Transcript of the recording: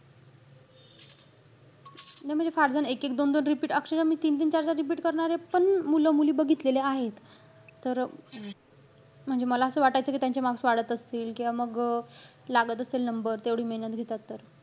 नाही म्हणजे फारजण एक-एक दोन-दोन repeat, अक्षरशः मी तीन-तीन चार-चार repeat करणारे पण, मुलं-मुली बघितलेले आहेत. तर म्हणजे मला असं वाटायचं कि त्यांचे marks वाढत असतील. किंवा मग अं लागत असेल number. तेवढी मेहनत घेतात तर.